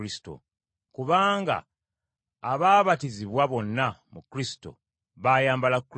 kubanga abaabatizibwa bonna mu Kristo, baayambala Kristo.